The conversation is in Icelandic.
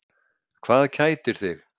Hvað kætir þig?